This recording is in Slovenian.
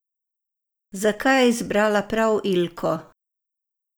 Zakaj je izbrala prav Ilko?